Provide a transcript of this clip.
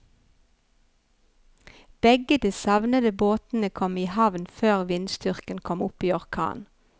Begge de savnede båtene kom i havn før vindstyrken kom opp i orkan.